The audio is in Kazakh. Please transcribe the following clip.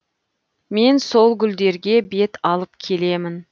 мен сол гүлдерге бет алып келемін